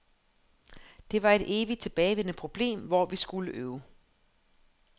Det var et evigt tilbagevendende problem, hvor vi skulle øve.